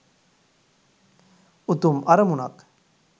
උතුම් අරමුණක්